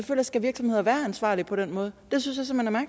skal virksomheder være ansvarlige på den måde